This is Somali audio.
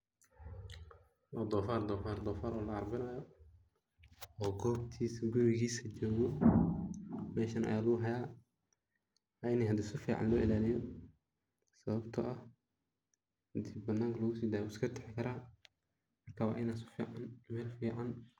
Dhonfar oo la carbinayo.oo gobtiis, gurigiis jogo, meshan aya lugu haaya wa ini hidi si fican loo ilaaliyo, sababto ah hadii bananka lugu sidaayo wuu iska tegi karaa waa ini sifican Mel fican